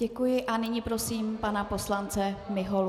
Děkuji a nyní prosím pana poslance Miholu.